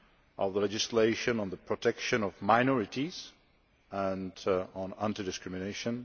of the legislation on the protection of minorities and on anti discrimination